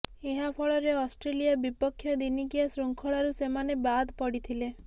ଏହା ଫଳରେ ଅଷ୍ଟ୍ରେଲିଆ ବିପକ୍ଷ ଦିନିକିଆ ଶୃଙ୍ଖଳାରୁ ସେମାନେ ବାଦ ପଡିଥିଲେ